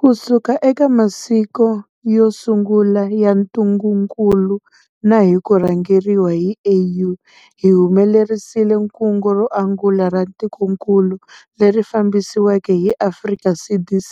Kusuka eka masiku yo sungula ya ntungukulu na hi ku rhangeriwa hi AU, hi humelerisile kungu ro angula ra tikokulu, leri fambisiweke hi Afrika CDC